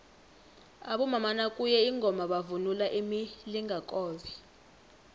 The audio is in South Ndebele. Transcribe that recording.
abomama nakuye ingoma bavunula imilingakobe